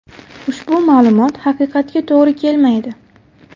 Ushbu ma’lumot haqiqatga to‘g‘ri kelmaydi.